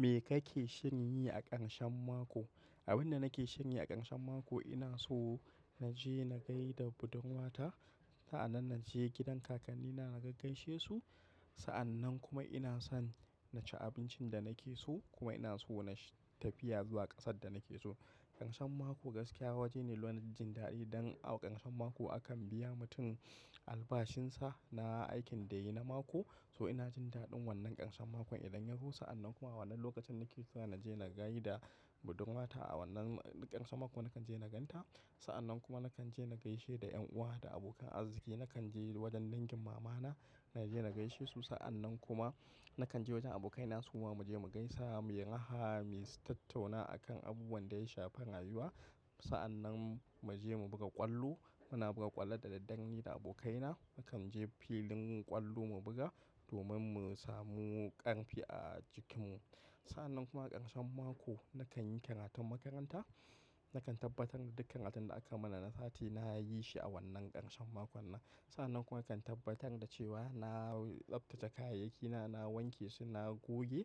Me kake shirinyi a ƙarshen mako? Abin da nake shirinyi a ƙarshen mako ina so naje na gaida budurwata. Sa'annan naje gidan kakannina a gaigaishe su. Sa'annan kuma ina son na ci abincin da nake so kuma ina so na tafiya zuwa ƙasar da nake so. Karshen mako gaskiya waje ne laun jin daɗi don a karshen mako akan biya mutum albashinsa na aikin da yayi na mako. So ina jin daɗin wannan karshen makon idan yazo. Sa'annan kuma a wannan lokacin nake so naje na gaida budurwata a wannan ƙarshen mako nake so naje ganta. Sa'annan kuma nakanje nagaishe da ƴan uwa da abokanan arziki. Nakan je wajen dangin mamana naje na gaishe su. Sa'annan kuma nakan je wajen abokaina suma mu je mu gaisa, mu yi raha, mu yi tattauna akan abubuwan da ya shafar rayuwa. Sa'annan mu je mu buga ƙwallo. Muna buga ƙwallo da daddare ni da abokaina. Mukan je filin ƙwallo mu buga domin mu samu ƙarfi a jikinmu. Sa'annan kuma a ƙarshen mako nakanyi karatun makaranta. Nakan tabbatar da dukkan abin da akai mana na sati nayi shi a wannan karshen makon nan. Sannan kuma nakan tabbatar da cewa na tsabtace kayayyaki na, na wanke su, na goge.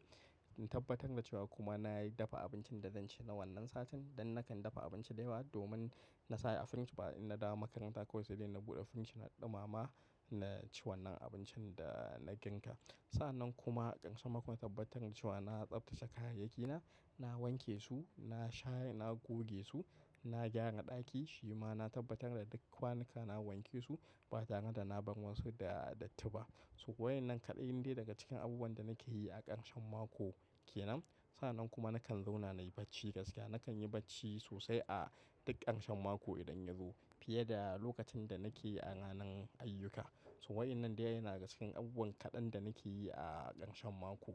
In tabbatar da cewa kuma nayi dafa abincin da zan ci na wannan satin. Dan nakan dafa abinci da yawa domin na sa a firij. Ba in na dawo makaranta kawai saidai na buɗe firij na ɗumama na ci wannan abincin da na girka. Sa'annan kuma a karshen mako na tabbatar da cewa na tsabtace kayayyaki na, na wanke su, na shayi, na goge su, na gyara ɗaki. Shima na tabbatar da duk kwanuka na wanke su ba tare da na bar wasu da datti ba. So waƴannan kaɗai ne daga cikin abubuwan da nake yi a karshen mako kenan. Sannan kuma nakan zauna nayi bacci gaskiya. Nakan yi bacci sosai a duk ƙarshen mako idan yazo fiye da lokacin da nake a ranan ayyuka. So waƴannnan dai na daga cikin abubuwan kaɗan da nake yi a ƙarshen mako.